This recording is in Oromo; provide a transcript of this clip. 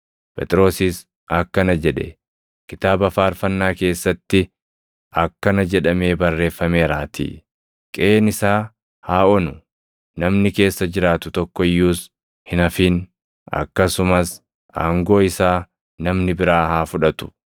Phexrosis akkana jedhe; “Kitaaba faarfannaa keessatti akkana jedhamee barreeffameeraatii: “ ‘Qeʼeen isaa haa onu; namni keessa jiraatu tokko iyyuus hin hafin’ + 1:20 \+xt Far 69:25\+xt* akkasumas “ ‘Aangoo isaa namni biraa haa fudhatu.’ + 1:20 \+xt Far 109:8\+xt*